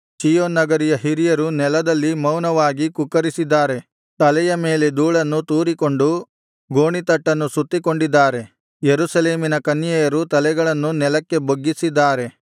ಚೀಯೋನ್ ನಗರಿಯ ಹಿರಿಯರು ನೆಲದಲ್ಲಿ ಮೌನವಾಗಿ ಕುಕ್ಕರಿಸಿದ್ದಾರೆ ತಲೆಯ ಮೇಲೆ ಧೂಳನ್ನು ತೂರಿಕೊಂಡು ಗೋಣಿ ತಟ್ಟನ್ನು ಸುತ್ತಿಕೊಂಡಿದ್ದಾರೆ ಯೆರೂಸಲೇಮಿನ ಕನ್ಯೆಯರು ತಲೆಗಳನ್ನು ನೆಲಕ್ಕೆ ಬೊಗ್ಗಿಸಿದ್ದಾರೆ